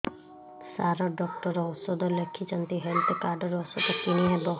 ସାର doctor ଔଷଧ ଲେଖିଛନ୍ତି health card ରୁ ଔଷଧ କିଣି ହେବ